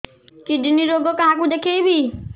kidney ରୋଗ କାହାକୁ ଦେଖେଇବି